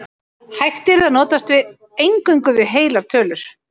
Hægt yrði að notast eingöngu við heilar tölur.